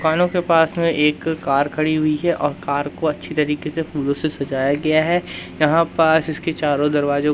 कानों के पास में एक कार खड़ी हुई है और कार को अच्छी तरीके से फूलों से सजाया गया है यहां पास इसके चारों दरवाजों--